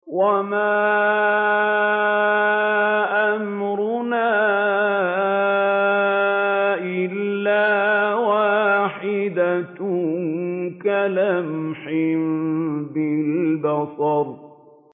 وَمَا أَمْرُنَا إِلَّا وَاحِدَةٌ كَلَمْحٍ بِالْبَصَرِ